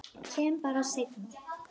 Kem bara seinna.